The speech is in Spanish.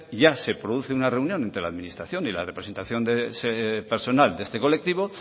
ya se produce una reunión entre la administración y la representación de ese personal de este colectivo